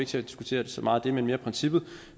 til at diskutere det så meget det er mere princippet